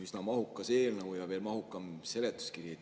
Üsna mahukas eelnõu ja veel mahukam seletuskiri.